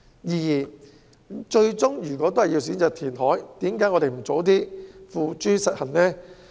如果最終也是選擇填海，為何我們不早些付諸實行？